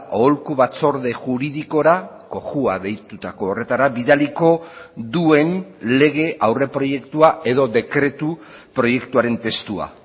aholku batzorde juridikora cojua deitutako horretara bidaliko duen lege aurreproiektua edo dekretu proiektuaren testua